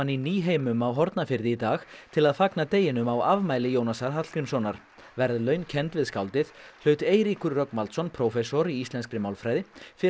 í Nýheimum á Hornafirði í dag til að fagna deginum á afmæli Jónasar Hallgrímssonar verðlaun kennd við skáldið hlaut Eiríkur Rögnvaldsson prófessor í íslenski málfræði fyrir